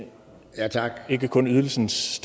er ikke kun ydelsens